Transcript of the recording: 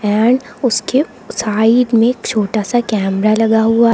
उसके साइड में छोटा सा कैमरा लगा हुआ--